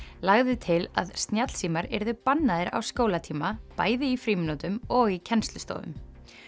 lagði til að snjallsímar yrðu bannaðir á skólatíma bæði í frímínútum og í kennslustofum